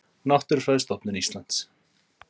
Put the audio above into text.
Náttúrufræðistofnun Íslands.